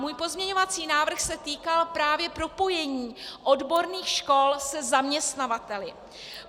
Můj pozměňovací návrh se týkal právě propojení odborných škol se zaměstnavateli.